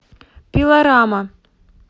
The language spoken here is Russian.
пилорама